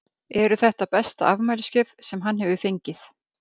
Eru þetta besta afmælisgjöf sem hann hefur fengið?